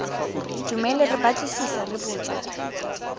dumele re batlisisa re botsa